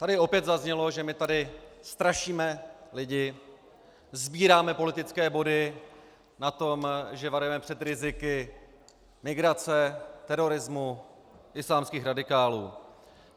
Tady opět zaznělo, že my tady strašíme lidi, sbíráme politické body na tom, že varujeme před riziky migrace, terorismu, islámských radikálů.